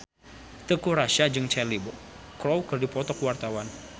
Teuku Rassya jeung Cheryl Crow keur dipoto ku wartawan